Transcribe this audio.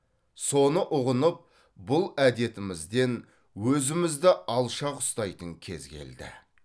соны ұғынып бұл әдетімізден өзімізді алшақ ұстайтын кез келді